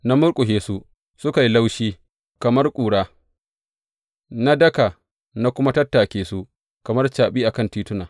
Na murƙushe su, suka yi laushi kamar ƙura; na daka na kuma tattake su kamar caɓi a kan tituna.